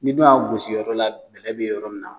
Ni ne y'a gosi yɔrɔ la kile bi yɔrɔ min na